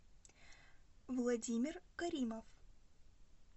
владимир каримов